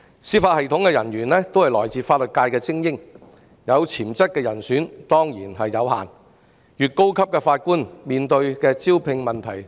司法系統人員均是法律界的精英，有潛質的人選有限，越高級的法官越難招聘。